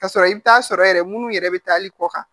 Ka sɔrɔ i bɛ taa sɔrɔ yɛrɛ minnu yɛrɛ bɛ taa hali kɔ kan